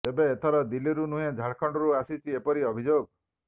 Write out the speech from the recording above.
ତେବେ ଏଥର ଦିଲ୍ଲୀରୁ ନୁହେଁ ଝାଡ଼ଖଣ୍ଡରୁ ଆସିଛି ଏପରି ଅଭିଯୋଗ